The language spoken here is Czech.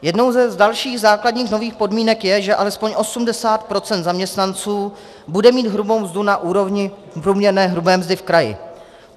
Jednou z dalších základních nových podmínek je, že alespoň 80 % zaměstnanců bude mít hrubou mzdu na úrovni průměrné hrubé mzdy v kraji.